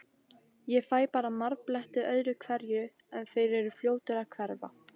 Ég fæ bara marbletti öðru hverju, en þeir eru fljótir að hverfa.